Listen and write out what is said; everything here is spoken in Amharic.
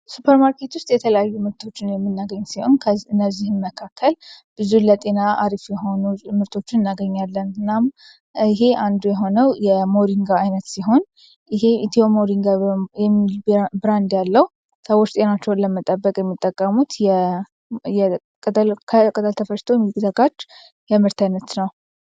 ሱፐeርማርኬት ውስጥ የተለዩ ምርቶችን የሚናገኝት ሲሆን እነዚህም መካከል ብዙ ለጤና አሪፍ የሆኑ ምርቶችን እናገኛያለን እናም ይህ አንዱ የሆነው የmሪንጋ አይነት ሲሆን ይ ኢtዮ moriንጋ ሚል ብራንድ ያለው ተወስ ጤናቸውን ለመጠበቅ የሚጠቀሙት ከቀታልተፈስተ የሚግዘጋች የምህርተይነት ነው